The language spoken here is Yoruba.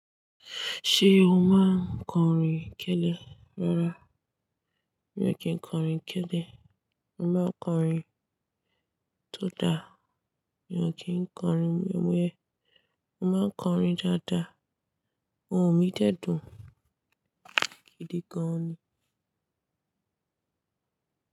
Ṣé o máa ń kọrin kẹ́lẹ́ rárá? Mi ò kí ń kọrin kẹ́lẹ́. Mo máa ń kọrin tó dáa. Mi ò kí ń kọrin wéwé. Mo máa ń kọrin dáadáa. Ohùn mi dẹ́dùn. Kídì gan-an ni.